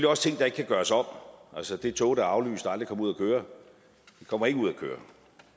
også ting der ikke kan gøres om altså det tog der er aflyst og aldrig kom ud at køre kommer ikke ud at køre